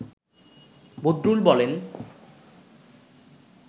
বদরুল বলেন